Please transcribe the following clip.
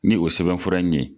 Ni o sɛbɛnfura in ɲe.